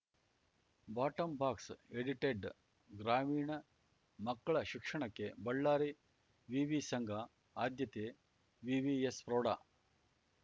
ಬಾಟಂಬಾಕ್ಸ edited ಗ್ರಾಮೀಣ ಮಕ್ಕಳ ಶಿಕ್ಷಣಕ್ಕೆ ಬಳ್ಳಾರಿ ವಿವಿ ಸಂಘ ಆದ್ಯತೆ ವಿವಿಎಸ್‌ ಪ್ರೌಢ